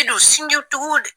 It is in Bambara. A bɛ don sin jiw tuguw.